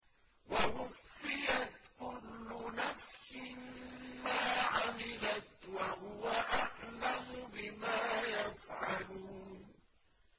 وَوُفِّيَتْ كُلُّ نَفْسٍ مَّا عَمِلَتْ وَهُوَ أَعْلَمُ بِمَا يَفْعَلُونَ